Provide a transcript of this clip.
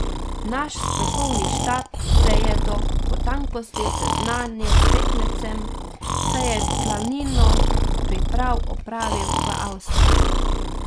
Naš strokovni štab se je do potankosti seznanil s tekmecem, saj je glavnino priprav opravil v Avstriji.